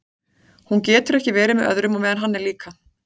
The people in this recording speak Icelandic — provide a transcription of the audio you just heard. Hún getur ekki verið með öðrum á meðan hann er líka.